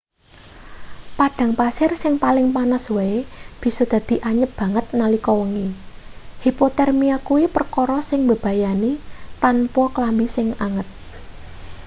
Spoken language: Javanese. padang pasir sing paling panas wae bisa dadi anyep banget nalika wengi hipotermia kuwi perkara sing mbebayani tanpa klambi sing anget